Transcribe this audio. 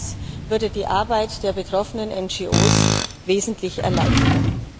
Auch das würde die Arbeit der betroffenen NRO wesentlich erleichtern.